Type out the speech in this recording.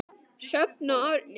Sjöfn og Árni.